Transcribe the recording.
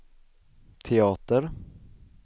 teater